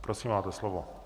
Prosím, máte slovo.